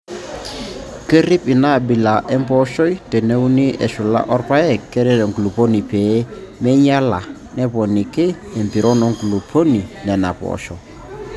Kerrip ina abila empooshoi teneuni eshula orpaek keret enkulupuoni pee meinyiala neponiki empiron nkulupuok Nena poosho.